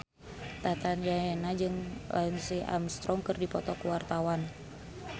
Tata Janeta jeung Lance Armstrong keur dipoto ku wartawan